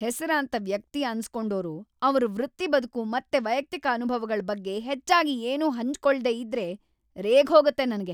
ಹೆಸರಾಂತ ವ್ಯಕ್ತಿ ಅನ್ಸ್‌ಕೊಂಡೋರು ಅವ್ರ್‌ ವೃತ್ತಿಬದುಕು ಮತ್ತೆ ವೈಯಕ್ತಿಕ ಅನುಭವಗಳ್ ಬಗ್ಗೆ ಹೆಚ್ಚಾಗಿ ಏನೂ ಹಂಚ್ಕೊಳ್ದೇ ಇದ್ರೆ ರೇಗ್ಹೋಗತ್ತೆ ನಂಗೆ.